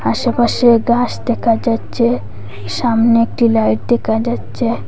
আশেপাশে গাস দেখা যাচ্ছে সামনে একটি লাইট দেখা যাচ্ছে।